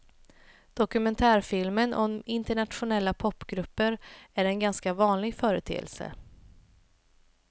Dokumentärfilmer om internationella popgrupper är en ganska vanlig företeelse.